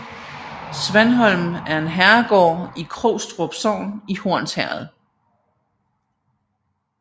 Svanholm er en herregård i Krogstrup Sogn i Hornsherred